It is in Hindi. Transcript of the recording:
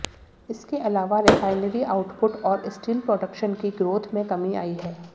इसके अलावा रिफाइनरी आउटपुट और स्टील प्रोडक्शन की ग्रोथ में कमी आई है